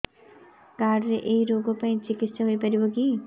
card ରେ ଏଇ ରୋଗ ପାଇଁ ଚିକିତ୍ସା ହେଇପାରିବ କି